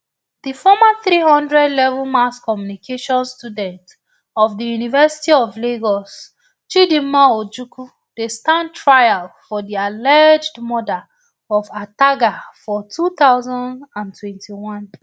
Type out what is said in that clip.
di former three hundredlevel mass communication student of di university of lagos chidinma ojukwu dey stand trial for di alleged murder of ataga for two thousand and twenty-one